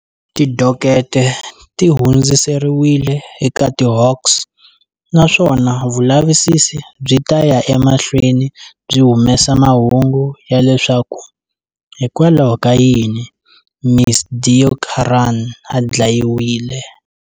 Tidokete ti hundziseriwile eka tiHawks, naswona vulavisisi byi ta ya emahlweni byi humesa mahungu ya leswaku hikokwalaho ka yini Ms Deokaran a dlayiwile.